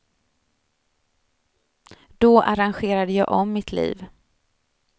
Då arrangerade jag om mitt liv.